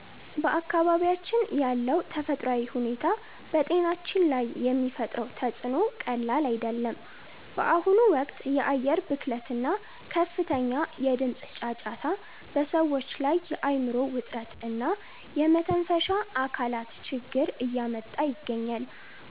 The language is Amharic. በአካባቢያችን ያለው ተፈጥሯዊ ሁኔታ በጤናችን ላይ የሚፈጥረው ተፅዕኖ ቀላል አይደለም። በአሁኑ ወቅት የአየር ብክለት እና ከፍተኛ የድምፅ ጫጫታ በሰዎች ላይ የአእምሮ ውጥረት እና የመተንፈሻ አካላት ችግር እያመጣ ይገኛል።